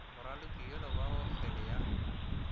moraloki yola wa kgwele ya